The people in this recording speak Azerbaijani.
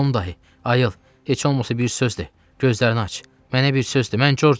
Tom dayı, ayıl, heç olmasa bir söz de, gözlərini aç, mənə bir söz de, mən Corcam!